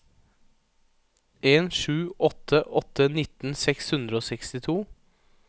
en sju åtte åtte nitten seks hundre og sekstito